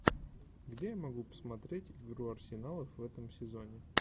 где я могу посмотреть игру арсеналов в этом сезоне